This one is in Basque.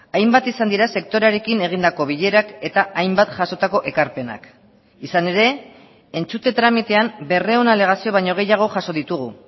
hainbat izan dira sektorearekin egindako bilerak eta hainbat jasotako ekarpenak izan ere entzute tramitean berrehun alegazio baino gehiago jaso ditugu